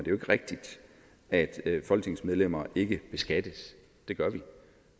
jo ikke rigtigt at folketingsmedlemmer ikke beskattes det gør vi